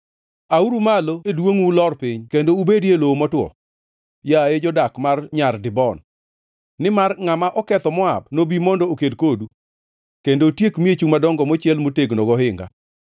“Auru malo e duongʼu ulor piny kendo ubedi e lowo motwo, yaye jodak mar Nyar Dibon, nimar ngʼama oketho Moab nobi mondo oked kodu, kendo otiek miechu madongo mochiel motegno gohinga.